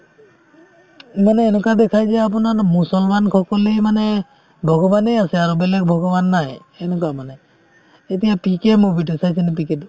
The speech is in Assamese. মানে এনেকুৱা দেখাই যে আপোনাৰ মুছলমান সকলেই মানে ভগৱানে আছে আৰু বেলেগ ভগৱান নাই সেনেকুৱা মানে এতিয়া পিকে movie তো চাইছানে পিকে তো